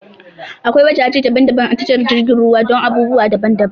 Akwai wajaje daban-daban a tashar jiragen ruwa dun abubuwa daban daban